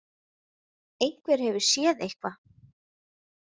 Einhver hefur séð eitthvað.